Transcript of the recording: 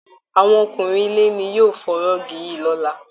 Àwọn ọkùnrin ilé ni yóò fọ rọ́ọ̀gì yìí lọ́lá